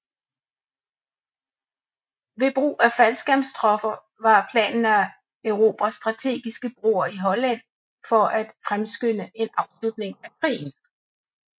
Ved brug af faldskærmstropper var planen at erobre strategiske broer i Holland for at fremskynde en afslutning af krigen